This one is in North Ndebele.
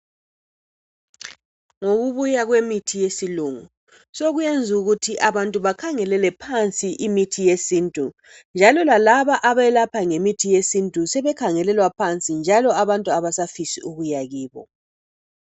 Ngokubuya kwemithi yesilungu sokwenza ukuthi abantu bakhangelele phansi imithi yesintu njalo lalaba abelapha ngemithi yesintu sebekhangelelwa phansi njalo labantu abasafisi ukuya kibo